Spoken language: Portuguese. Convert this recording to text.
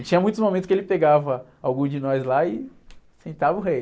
E tinha muitos momentos que ele pegava algum de nós lá e pintava o rei.